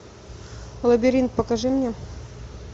лабиринт покажи мне